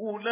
أُولَٰئِكَ